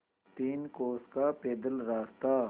तीन कोस का पैदल रास्ता